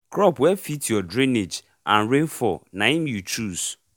crop wey fit your drainage and rainfall naim you chose